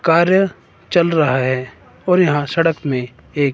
कार्य चल रहा है और यहां सड़क मे एक